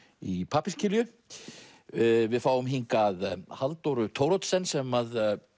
í pappírskilju við fáum hingað Halldóru Thoroddsen sem